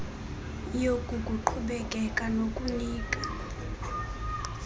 yoku kukuqhubekeka nokukunika